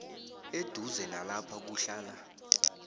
eduze nalapha kuhlala